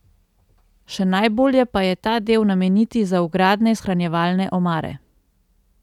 Še najbolje pa je ta del nameniti za vgradne shranjevalne omare.